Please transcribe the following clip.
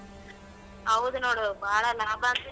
ಹೌದ್ ನೋಡು ಬಾಳಾ ಲಾಭ.